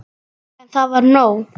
En það var nóg.